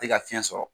Tɛ ka fiɲɛ sɔrɔ